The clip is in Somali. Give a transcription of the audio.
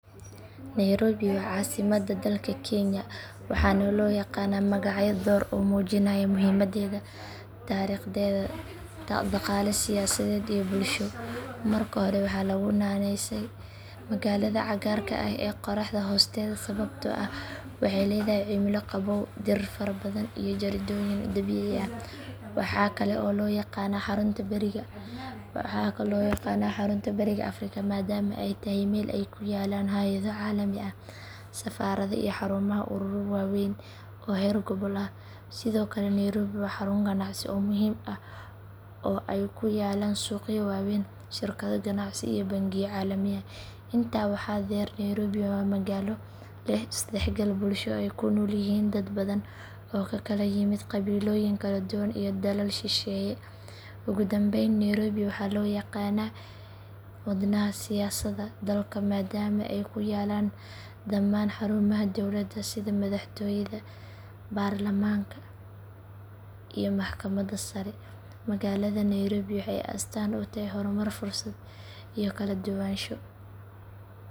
Nairobi waa caasimadda dalka kenya waxaana loo yaqaanaa magacyo dhowr ah oo muujinaya muhiimaddeeda taariikheed, dhaqaale, siyaasadeed iyo bulsho. Marka hore waxaa lagu naaneysaa magaalada cagaarka ah ee qorraxda hoosteeda sababtoo ah waxay leedahay cimilo qabow, dhir farabadan iyo jardiinooyin dabiici ah. Waxaa kale oo loo yaqaanaa xarunta bariga afrika maadaama ay tahay meel ay ku yaallaan hay’ado caalami ah, safaarado, iyo xarumaha ururo waaweyn oo heer gobol ah. Sidoo kale nairobi waa xarun ganacsi oo muhiim ah oo ay ku yaallaan suuqyo waaweyn, shirkado ganacsi, iyo bangiyo caalami ah. Intaa waxaa dheer nairobi waa magaalo leh is dhexgal bulsho oo ay ku nool yihiin dad badan oo ka kala yimid qabiilooyin kala duwan iyo dalal shisheeye. Ugu dambayn nairobi waxaa loo yaqaanaa wadnaha siyaasadda dalka maadaama ay ku yaallaan dhamaan xarumaha dowladda sida madaxtooyada, baarlamaanka iyo maxkamadda sare. Magaalada nairobi waxay astaan u tahay horumar, fursad iyo kala duwanaansho.